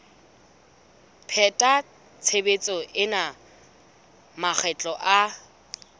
pheta tshebetso ena makgetlo a